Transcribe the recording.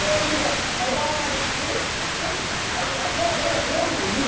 тиімді пайдалана білсеңіз сіз әжептәуір